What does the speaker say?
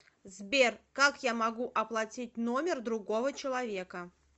сбер как я могу оплатить номер другого человека